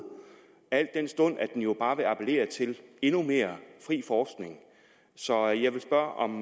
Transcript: al den stund at den jo bare vil appellere til endnu mere fri forskning så jeg vil spørge om